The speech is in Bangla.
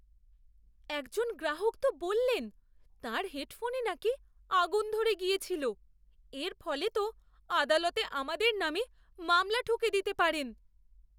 একজন গ্রাহক তো বললেন তাঁর হেডফোনে নাকি আগুন ধরে গিয়েছিলো! এর ফলে তো আদালতে আমাদের নামে মামলা ঠুকে দিতে পারেন!